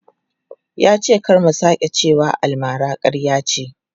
Ya ce kar mu sake cewa almara ƙarya ce.